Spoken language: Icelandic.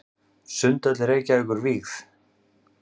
Sundhöll Reykjavíkur vígð.